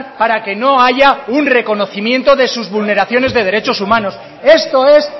para que no haya un reconocimiento de sus vulneraciones de derechos humanos esto es